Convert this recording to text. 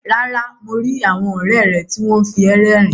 Rárá, mo ri àwọn ọrẹ rẹ ti wọn fi ẹ rérìn.